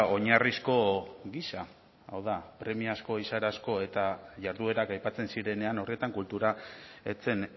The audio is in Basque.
oinarrizko gisa hau da premiazko eta jarduerak aipatzen zirenean horretan kultura ez zen